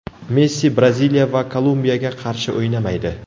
Messi Braziliya va Kolumbiyaga qarshi o‘ynamaydi.